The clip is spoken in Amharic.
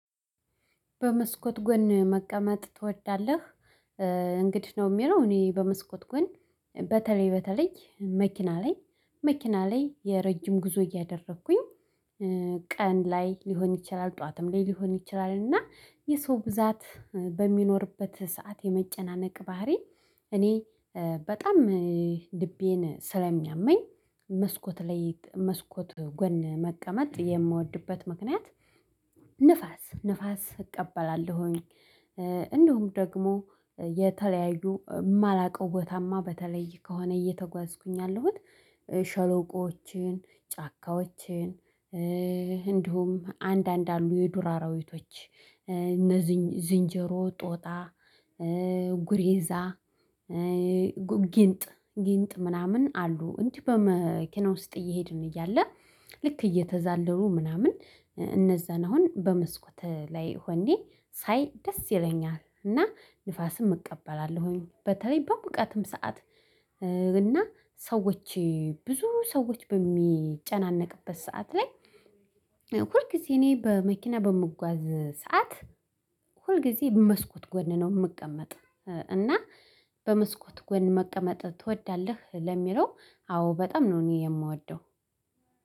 በመስኮት ጎን መቀመጥ ትወዳለህ? እንዲህ ነው የሚለው እኔ በመስኮት ጎን በተለይ መኪና ላይ መኪና ላይ የረጅም ጉዞ እያደረኩኝ ቀን ላይ ሊሆን ይችላል። ጠዋትም ላይ ሊሆን ይችላል። እና የሰው ብዛት በሚኖርበት ሰዓት የመጨናነቅ ባህሪ እኔ በጣም ልቤን ስለሚያመኝ መስኮት ላይ መስኮት ጎን መቀመጥ የምወድበት ምክንያት። ንፋስ ንፋስ እቀበላለሁኝ። እንደውም ደግሞ የተለያዩ የማላውቀው ቦታማ በተለይ ከሆነ እየተጓዝኩኝ ያለሁት ሸለቆዎችን ጫካዎችን። እንዲሁም አንዳንድ አሉ የዱር አራዊቶች እነ ዝንጀሮ ጦጣ ጉሬዛ ጊንጥ ጊንጥ ምናምን አሉ። እንዲህ በመኪና ውስጥ እየሄድን እያለ ልክ እየተዛለሉ ምናምን እነዛን አሁን በመስኮት ላይ ሆኜ ሳይ ደስ ይለኛል። እና ንፋስም እቀበላለሁኝ በተለይ በሙቀትም ሰዓት እና ሰዎች ብዙ ሰዎች በሚጨናነቅበት ሰዓት ላይ። ሁልጊዜ እኔ በመኪና በምጓዝበት ሰዓት ሁልጊዜ በመስኮት ጎን ነው የምቀመጥ። እና በመስኮት ጎን መቀመጥ ትወዳለህ? ለሚለው አዎ በጣም ነው እኔ የምወደው።